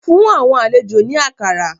Fun awọn alejo ni akara